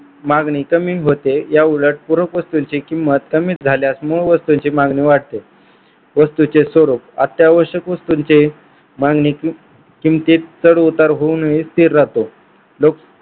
मागणी कमी होते. या उलट पूरक वस्तूंची किंमत कमी झाल्यास मूळ वस्तूंची मागणी वाढते. वस्तूचे स्वरूप अत्यावश्यक वस्तूंचे मागणी किमतीत चढ-उतर होऊ नये स्थिर राहतो लोक